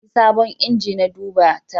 Za a yi sabon inji na duba tayi